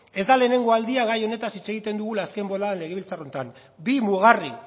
ez da lehenengo aldia gai honetaz hitz egiten dugula azken boladan legebiltzar honetan bi mugarri